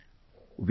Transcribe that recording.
Friends,